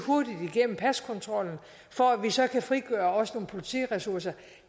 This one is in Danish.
igennem paskontrollen for at vi så kan frigøre også politiressourcer